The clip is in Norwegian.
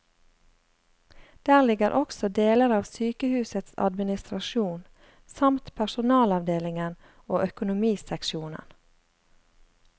Der ligger også deler av sykehusets administrasjon, samt personalavdelingen og økonomiseksjonen.